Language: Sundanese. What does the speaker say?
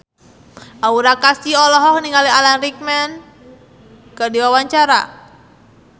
Aura Kasih olohok ningali Alan Rickman keur diwawancara